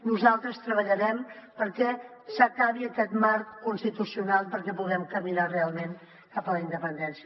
nosaltres treballarem perquè s’acabi aquest marc constitucional perquè puguem caminar realment cap a la independència